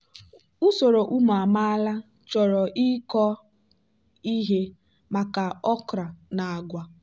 usoro ụmụ amaala chọrọ ịkọ ihe maka okra na agwa.